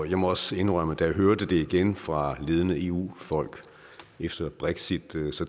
jeg må også indrømme at da jeg hørte det igen fra ledende eu folk efter brexit